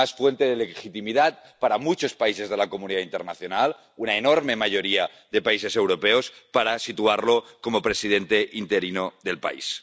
Además, fuente de legitimidad para muchos países de la comunidad internacional, una enorme mayoría de países europeos, para situarlo como presidente interino del país.